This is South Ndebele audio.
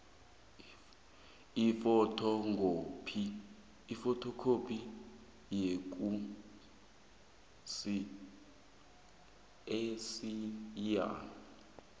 ifothokhophi yekhasi eliyia